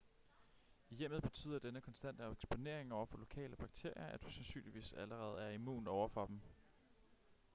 i hjemmet betyder denne konstante eksponering over for lokale bakterier at du sandsynligvis allerede er immun over for dem